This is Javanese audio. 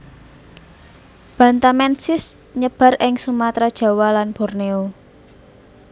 bantamensis nyebar ing Sumatra Jawa lan Borneo